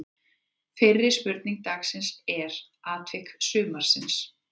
Fyrri spurning dagsins er: Atvik sumarsins?